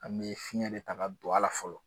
An me fiɲɛta de ta ka don ala fɔlɔ